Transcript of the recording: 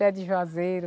Pé de joazeiro.